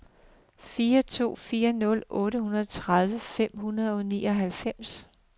fire to fire nul otteogtredive fem hundrede og nioghalvfems